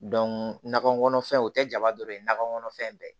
nakɔ kɔnɔfɛnw o tɛ jaba dɔ ye nakɔ kɔnɔfɛn bɛɛ